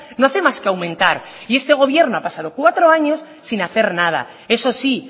no hace más que aumentar y este gobierno ha pasado cuatro años sin hacer nada eso sí